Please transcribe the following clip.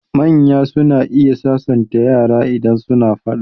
Manya suna iya sasanta yara idan suna faɗa.